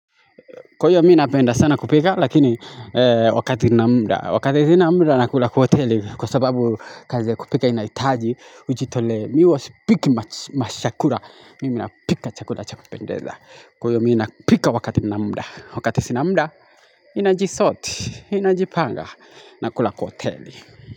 Kwaiyo mi napenda sana kupika lakini wakati na mda. Wakati sinamda nakula kwa hoteli kwa sababu kazi ya kupika inaitaji. Ujitole mi huwa sipiki mashakura. Mimi napika chakura chakupendeza. Kwaio mi napika wakati sna mda. Wakati sina mda inajisoti. Ninajipanga nakula kwa hoteli.